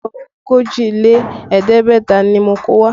Aṣọ ogójì lé ẹ̀ẹ́dẹ́gbẹ̀ta ni mo kó wá